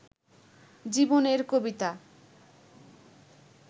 জীবনের কবিতা